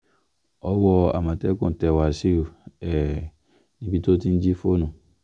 owó àmọ̀tẹ́kùn tẹ wáṣíù um níbi tó ti ń jí fóònù